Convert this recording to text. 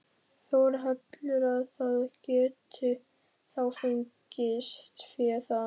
Þórhallur: Að það geti þá fengist fé þaðan?